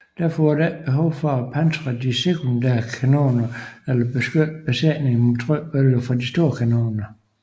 Derfor var der ikke behov for at pansre de sekundære kanoner eller beskytte besætningerne mod trykbølgerne fra de store kanoner